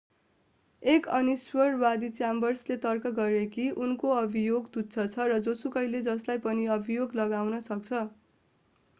एक अनिश्वरवादी च्याम्बर्सले तर्क गरे कि उनको अभियोग तुच्छ छ र जोसुकैले जसलाई पनि अभियोग लगाउन सक्छ